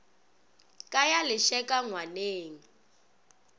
ka ya le lešeka ngwaneng